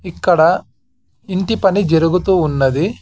ఇక్కడ ఇంటి పని జరుగుతూ ఉన్నది.